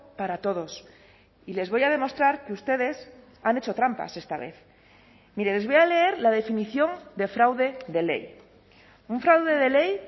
para todos y les voy a demostrar que ustedes han hecho trampas esta vez mire les voy a leer la definición de fraude de ley un fraude de ley